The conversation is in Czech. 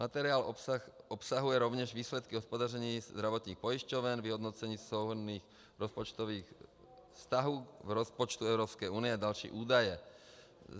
Materiál obsahuje rovněž výsledky hospodaření zdravotních pojišťoven, vyhodnocení souhrnných rozpočtových vztahů k rozpočtu Evropské unie a další údaje.